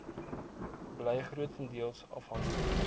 bly grotendeels afhanklik